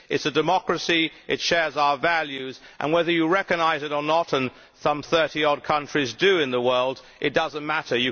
It is a democracy, it shares our values, and whether you recognise it or not and some thirty odd countries in the world do does not matter.